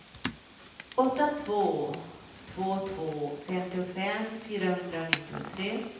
åtta två två två femtiofem fyrahundranittiotre